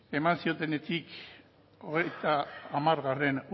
nobel saria eman zionenetik hogeita hamargarrena